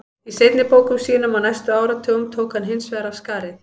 Í seinni bókum sínum á næstu áratugum tók hann hins vegar af skarið.